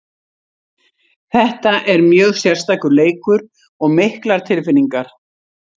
Þetta er mjög sérstakur leikur og miklar tilfinningar.